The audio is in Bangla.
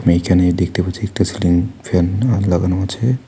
এইখানে দেখতে পাচ্ছি একটা সিলিং ফ্যানও লাগানো আছে।